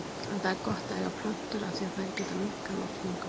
En það er gott að eiga plöntur af því að þær geta minnkað loftmengun.